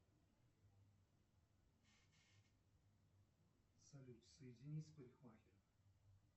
салют соедини с парикмахером